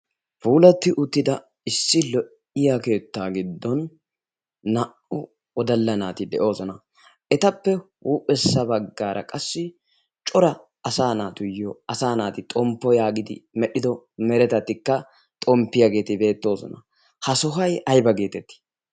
puulatti uttida issi lo'iya keettaa giddon naa'uw odalla naati de'oosona. etappe huuphessa baggaara qassi cora asa naatuyyo asa naati xomppo yaagidi medhdhido meretatikka xomppiyaageeti beettoosona. ha sohay ayba geetettii